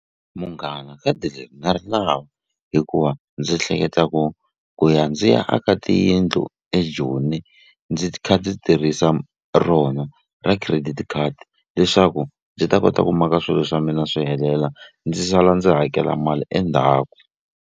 Munghana khadi leri na ri lava hikuva ndzi hleketa ku ku ya ndzi ya aka tiyindlu eJoni ndzi kha ndzi tirhisa rona ra credit card leswaku ndzi ta kota ku maka swilo swa mina swi helela ndzi sala ndzi hakela mali endzhaku.